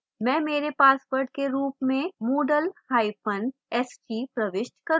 मैं मेरे password के रूप में moodle hyphen st प्रविष्ट करूँगा